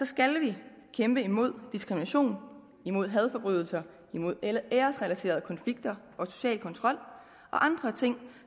skal vi kæmpe imod diskrimination imod hadforbrydelser imod æresrelaterede konflikter og social kontrol og andre ting